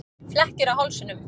Flekkir á hálsinum.